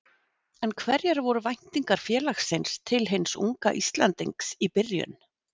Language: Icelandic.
En hverjar voru væntingar félagsins til hins unga Íslendings í byrjun?